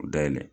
U dayɛlɛ